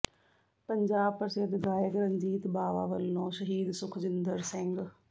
ਪੰਜਾਬ ਪ੍ਰਸਿੱਧ ਗਾਇਕ ਰਣਜੀਤ ਬਾਵਾ ਵੱਲੋਂ ਸ਼ਹੀਦ ਸੁਖਜਿੰਦਰ ਸਿੰਘ